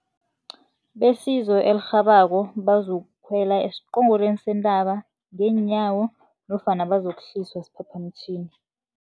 Besizo elirhabako bazokukhwela esiqongolweni sentaba ngeenyawo nofana bazokuhliswa siphaphamtjhini.